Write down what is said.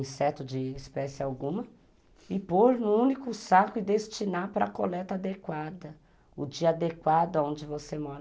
inseto de espécie alguma, e pôr num único saco e destinar para a coleta adequada, o dia adequado onde você mora.